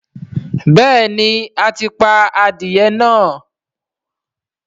béèni a tí pá adìye náa.